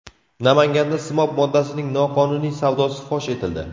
Namanganda simob moddasining noqonuniy savdosi fosh etildi.